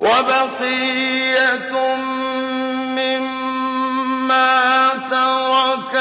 وَبَقِيَّةٌ مِّمَّا تَرَكَ